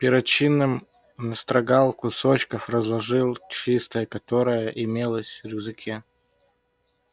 перочинным ножом он настрогал несколько кусочков и разложил их на чистой тряпице которая тоже имелась у него в рюкзаке